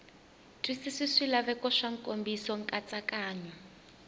twisisi swilaveko swa nkomiso nkatsakanyo